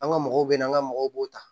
An ka mɔgɔw bɛ na an ka mɔgɔw b'o ta